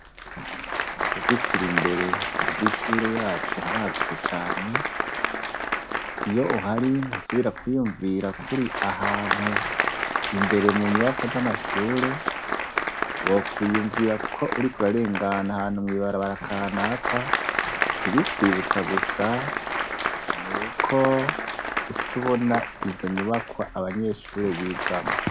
Mubuzitiro imbere rwishure yacu haragutse cane iyo uhari ntusubira kwiyumvira ko uri ahantu imbere munyubakwa zamashure wokwiyumvira ko uriko urarengana ahantu mwibarabara kanaka ibiyikwibutsa gusa nuko ucubona izonyubakwa abanyeshure bigamwo